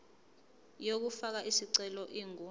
yokufaka isicelo ingu